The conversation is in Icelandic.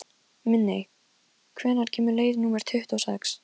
Minney, hvenær kemur leið númer tuttugu og sex?